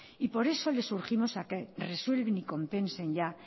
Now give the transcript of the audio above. y por eso les urgimos a que resuelven y compensen ya